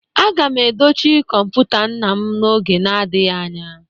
Aga m edochi kọmputa nna m n'oge na-adịghị anya